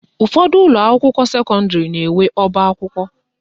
Ụfọdụ ụlọakwụkwọ sekọndịrị na-enwe ọbakwụkwọ